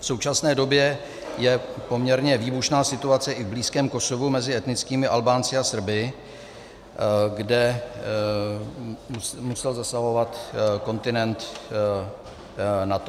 V současné době je poměrně výbušná situace i v blízkém Kosovu mezi etnickými Albánci a Srby, kde musel zasahovat kontingent NATO.